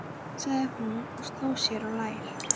sagði hún og sló sér á lær.